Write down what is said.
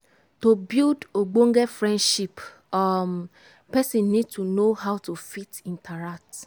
to build ogbonge friendship um person need to know how to fit interact